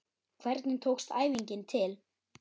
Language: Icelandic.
Hvernig tókst æfingin til?